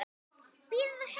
Bíða og sjá.